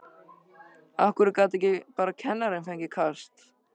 Af hverju gat ekki bara kennarinn fengið kast?